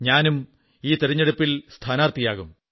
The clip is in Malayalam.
ഞാനും ഈ തിരഞ്ഞെടുപ്പിൽ സ്ഥാനാർഥിയാകും